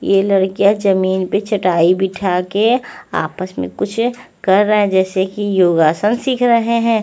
ये लड़कियां जमीन पे चटाई बिछा के आपस में कुछ कर रहे हैं जैसे कि योगासन सीख रहे हैं।